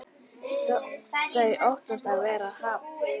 Þau óttast að vera hafnað.